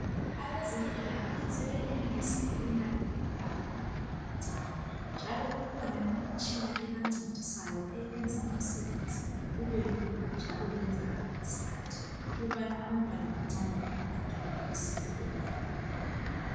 Abezempilakahle sebenelisa lokunakakela abantwana abancane, njalo kukhona imitshina ebancedisayo eyenza umsebenzi ube lula, njalo wenzakale ngesikhathi ukubana abantwana abancane labo bathole usizo olufaneleyo.